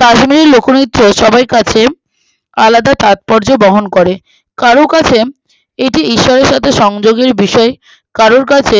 কাশ্মীরি লোকনৃত্য সবার কাছে আলাদা তাৎপর্য ব্যাখ্যা করে কারো কাছে এটি ঈশ্বরের কাছে সংযোগের বিষয়ে কারোর কাছে